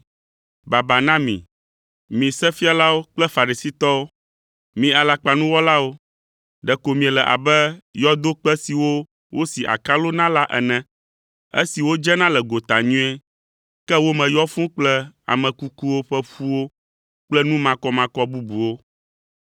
“Baba na mi, mi Sefialawo kple Farisitɔwo, mi alakpanuwɔlawo! Ɖeko miele abe yɔdokpe siwo wosi akalo na la ene, esiwo dzena le gota nyuie, ke wo me yɔ fũu kple ame kukuwo ƒe ƒuwo kple nu makɔmakɔ bubuwo.